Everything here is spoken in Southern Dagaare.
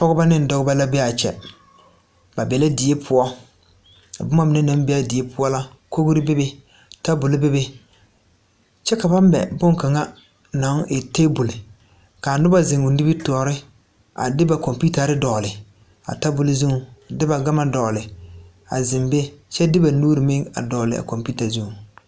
Pɔgeba ne dɔbɔ la be a kyɛ ba be la die poɔ ka boma mine naŋ be a die poɔ la kogri bebe table bebe kyɛ ka ba mɛ boŋkaŋa naŋ e table ka a noba zeŋ o nimitɔɔre a de ba computers a dogle a table zuŋ a de ma gama dogle a zeŋ be kyɛ de ba nuuri meŋ a dogle a computer zuŋ.